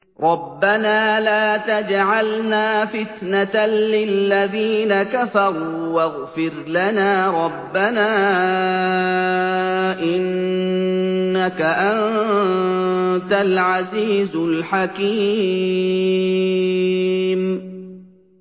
رَبَّنَا لَا تَجْعَلْنَا فِتْنَةً لِّلَّذِينَ كَفَرُوا وَاغْفِرْ لَنَا رَبَّنَا ۖ إِنَّكَ أَنتَ الْعَزِيزُ الْحَكِيمُ